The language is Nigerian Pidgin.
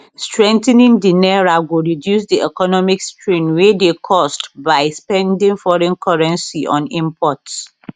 strengthening di naira go reduce di economic strain wey dey caused by spending foreign currency on imports